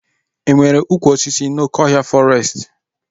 E nwere ụkwụ osisi n'oké ọhịa fọrestị?